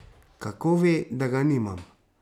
Kako ve, da ga nimam?